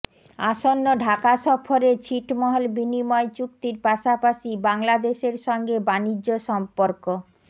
আসন্ন ঢাকা সফরে ছিটমহল বিনিময় চুক্তির পাশাপাশি বাংলাদেশের সঙ্গে বাণিজ্য সম্পর্ক